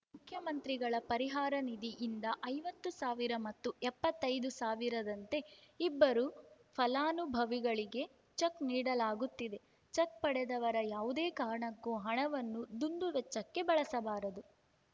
ಮುಖ್ಯಮಂತ್ರಿಗಳ ಪರಿಹಾರ ನಿಧಿಯಿಂದ ಐವತ್ತು ಸಾವಿರ ಮತ್ತು ಎಪ್ಪತ್ತೈದು ಸಾವಿರದಂತೆ ಇಬ್ಬರು ಫಲಾನುಭವಿಗಳಿಗೆ ಚೆಕ್‌ ನೀಡಲಾಗುತ್ತಿದೆ ಚೆಕ್‌ ಪಡೆದವರು ಯಾವುದೇ ಕಾರಣಕ್ಕೂ ಹಣವನ್ನು ದುಂದುವೆಚ್ಚಕ್ಕೆ ಬಳಸಬಾರದು